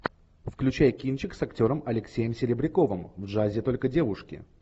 включай кинчик с актером алексеем серебряковым в джазе только девушки